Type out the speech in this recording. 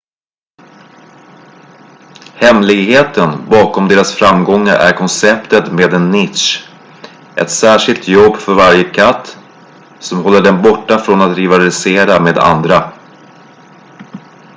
hemligheten bakom deras framgångar är konceptet med en nisch ett särskilt jobb för varje katt som håller den borta från att rivalisera med andra